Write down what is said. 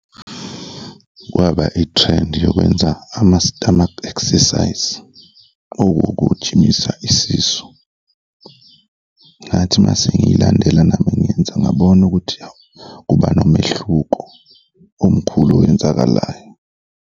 Kwaba ithrendi yokwenza ama-stomach exercise owokujimisa isisu. Ngathi mase ngiyilandela nami ngenza ngabona ukuthi hhawu, kuba nomehluko omkhulu owenzakalayo.